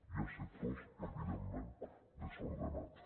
hi ha sectors evidentment des ordenats